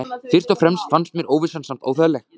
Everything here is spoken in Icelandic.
Fyrst og fremst fannst mér óvissan samt óþægileg.